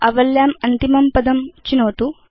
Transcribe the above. आवल्याम् अन्तिमं पदं चिनोतु